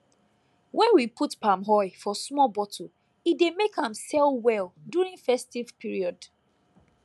when we put palm oil for small bottle e dey make am sell well during festive period